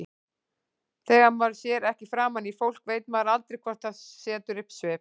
Þegar maður sér ekki framan í fólk veit maður aldrei hvort það setur upp svip.